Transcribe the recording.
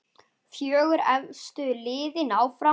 Fjögur efstu liðin áfram.